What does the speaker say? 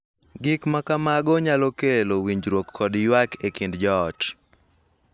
Gik ma kamago nyalo kelo winjruok kod ywak e kind joot,